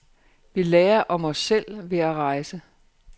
Vi lærer om os selv ved at rejse.